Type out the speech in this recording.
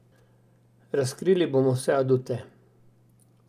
Razkrili bomo vse adute.